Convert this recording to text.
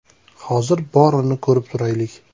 Hozir borini ko‘rib turaylik.